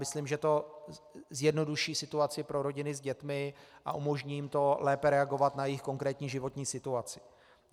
Myslím, že to zjednoduší situaci pro rodiny s dětmi a umožní jim to lépe reagovat na jejich konkrétní životní situaci.